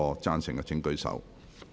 贊成的請舉手。